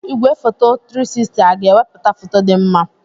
Igwefoto 360 aga-ewepụta foto dị mma?